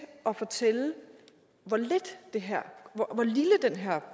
at fortælle hvor lille den her